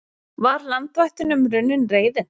Var landvættunum runnin reiðin?